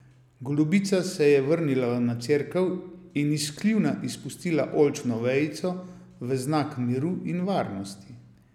Golobica se je vrnila na cerkev in iz kljuna izpustila oljčno vejico v znak miru in varnosti.